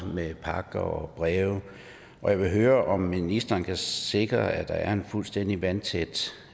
med pakker og breve og jeg vil høre om ministeren kan sikre at der er fuldstændig vandtætte